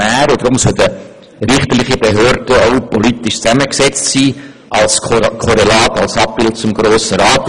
Deshalb sollte eine richterliche Behörde auch politisch zusammengesetzt werden, als Korrelat zum Grossen Rat.